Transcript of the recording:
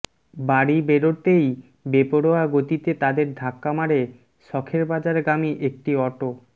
বাড়়ি বেরোতেই বেপরোয়া গাতিতে তাদের ধাক্কা মারে শখেরবাজার গামী একটি অটো